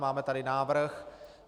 Máme tady návrh.